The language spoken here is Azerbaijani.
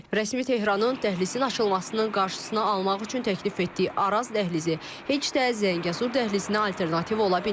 Rəsmi Tehranın dəhlizin açılmasının qarşısına almaq üçün təklif etdiyi Araz dəhlizi heç də Zəngəzur dəhlizinə alternativ ola bilməz.